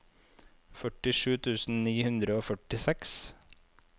førtisju tusen ni hundre og førtiseks